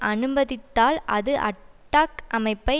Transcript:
அனுமதித்தால் அது அட்டாக் அமைப்பை